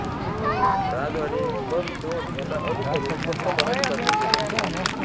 राजवाडे म वि धोंड यांना अनुसरून फक्त मराठी भाषेत लेखन केले